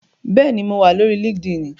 Bẹ́ẹ̀ni, mo wà lórí líkídíìnì